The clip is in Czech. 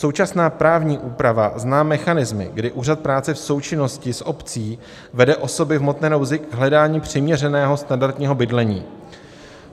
Současná právní úprava zná mechanismy, kdy úřad práce v součinnosti s obcí vede osoby v hmotné nouzi k hledání přiměřeného standardního bydlení.